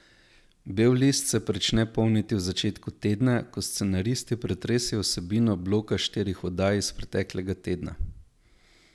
Bel list se prične polniti v začetku tedna, ko scenaristi pretresejo vsebino bloka štirih oddaj iz preteklega tedna.